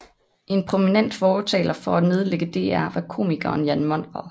En prominent fortaler for at nedlægge DR var komikeren Jan Monrad